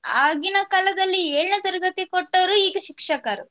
ಆಗಿನ ಕಾಲದಲ್ಲಿ ಏಳನೇ ತರಗತಿ ಕೊಟ್ಟವರು ಈಗ ಶಿಕ್ಷಕರು